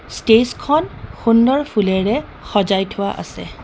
Stage খন সুন্দৰ ফুলেৰে সজাই থোৱা আছে.